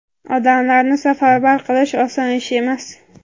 odamlarni safarbar qilish oson ish emas.